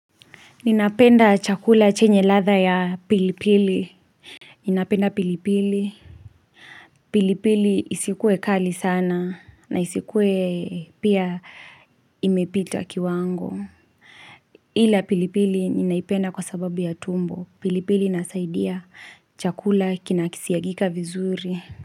Ninapenda chakula chenye ladha ya pilipili Ninapenda pilipili pilipili isikuwe kali sana na isikuwe pia imepita kiwango ila pilipili ninaipenda kwa sababu ya tumbo. Pilipili inasaidia chakula kinakisiagika vizuri.